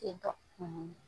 Ten tɔ.